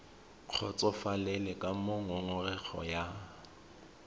kgotsofalele ka moo ngongorego ya